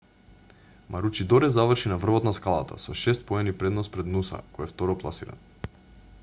маручидоре заврши на врвот на скалата со шест поени предност пред нуса кој е второпласиран